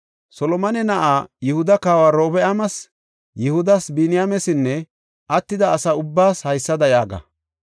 “Solomone na7aa, Yihuda kawa Orobi7aamas, Yihudas, Biniyaamesinne attida asa ubbaas haysada yaaga;